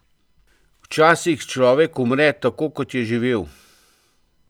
Včasih človek umre tako, kot je živel.